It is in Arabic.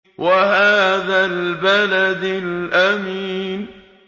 وَهَٰذَا الْبَلَدِ الْأَمِينِ